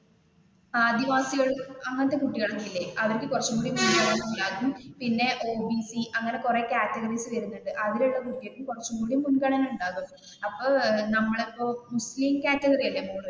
ആദിവാസികൾ അങ്ങനത്തെ കുട്ടികൾ ഒക്കെ ഇല്ലേ അവർക്ക് കുറച്ചും കൂടി മുൻഗണന ഉണ്ടാവും പിന്നെ ഓ. ബി. സി അങ്ങനെ കുറെ കാറ്റഗറി വരുന്നുണ്ട് അതിലുള്ള കുട്ടികൾക്ക് കുറച്ചു കൂടി മുൻഗണന ഉണ്ടാവും. അപ്പൊ നമ്മളിപ്പോ മുസ്ലിം കാറ്റഗറി അല്ലെ മോൾ